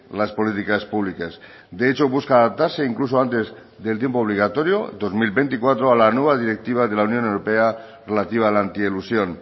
las políticas públicas de hecho busca adaptarse incluso antes del tiempo obligatorio dos mil veinticuatro a la nueva directiva de la unión europea relativa a la anti elusión